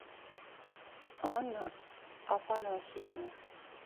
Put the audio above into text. анна афанасьевна